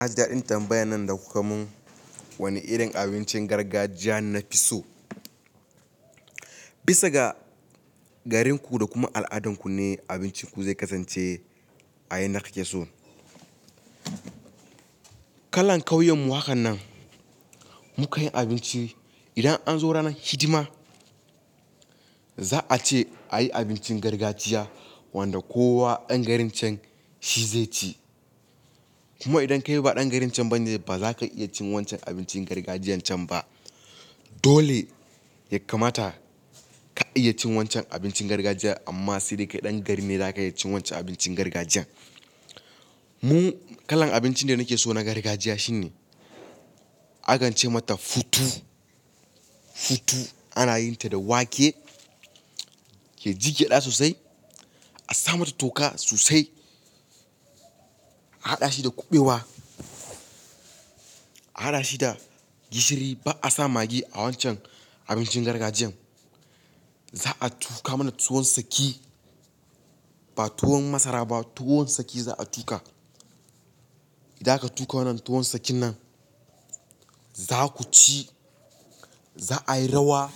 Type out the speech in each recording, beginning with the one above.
Na ji daɗin tambayan nan da kuka mun. Wani irin abincin gargajiya na fi so? Bisa ga garinku da kuma al'adunku ne abincinku zai kasance a yanda ka ke so. Kalan kauyen mu hakan nan, mukan yi abinci idan an zo ranar hidima, za a ce a yi abincin gargajiya wanda kowa ɗan garin can shi zai ci. Kuma idan kai ba ɗan garin can ba ne, ba za ka iya cin wancan abincin gargajiyan can ba. Dole ya kamata ka iya cin wancan abincin gargajiya amma sai dai kai ɗan garin ne zaka iya cin wancan abincin gargajiya. Mu kalan abincin da nake so na gargajiya shine, aka ce mata futu. Futu ana yin ta da wake ya ji gyaɗa sosai. A sa mata toka sosai. A haɗa shi da kuɓewa. A haɗa shi da gishiri ba a sa magi a wancan abincin gargajiyan. Za a tuka mana tuwon saki, ba tuwon masara ba, tuwon saki za a tuka. Idan aka tuka wannan tuwon sakin nan, za ku ci, za a yi rawa.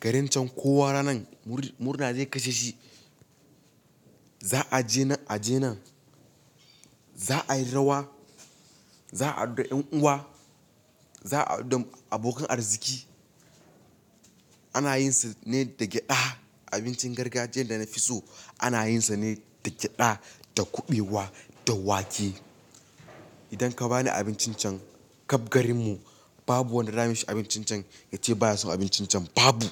Garin can kowa ranan murna zai kashe shi. Za a je nan aje nan. Za a yi rawa. Za a haɗu da ƴan uwa. Za a haɗu da abokan arziki. Ana yin sa ne da gyada. Abincin gargajiyan da na fi so ana yin sa ne da gyada, da kuɓewa, da wake. Idan ka ba ni abincin can, ƙabgarin mu babu wanda zayi mishi abincin can ya ce ba ya son abincin can, babu.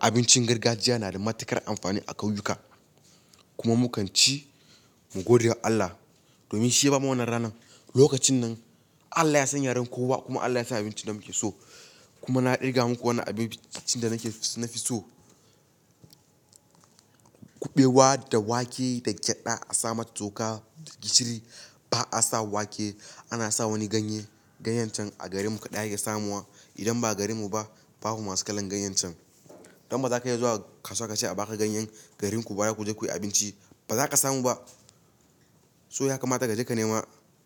Abincin gargajiya na da matuƙar amfani a ƙauyuka kuma mu kan ci mu gode wa Allah domin shi ya ba mu wannan rana. Lokacin nan Allah ya san yaren kowa kuma Allah ya san abincin da muke so kuma na irga muku wannan abincin da nake so na fi so. Kuɓewa da wake da gyada a sa mata toka da gishiri. Ba a sa wake, ana sa wani ganye. Ganyen can a garin mu kaɗai ake samuwa. Idan ba garin mu ba, babu masu kalan ganyen can. Don ba za ka iya zuwa kasuwa ka ce a baka ganyen garin ku ba zaku je ku yi abinci, ba za ka samu ba. So ya kamata ka jeka nema.